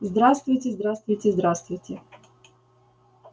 здравствуйте здравствуйте здравствуйте